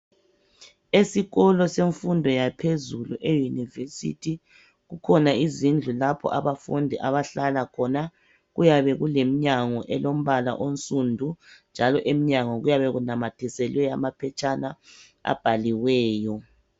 Esikolo semfundo yaphezulu euniversithi ukhona izindlu lapha abafundi abahlala khona kuyabe kulemnyango elombala onsundu njalo imnyango kuyabe kunamathiselwe amaphetshana abaliweyo